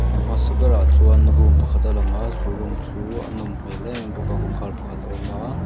a hmasa berah chuan room pakhat a lang a chu room chu a nawm hmel em em bawk a kawngkhar pakhat a awm a.